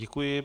Děkuji.